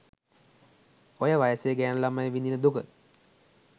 ඔය වයසේ ගෑණු ළමයි විඳින දුක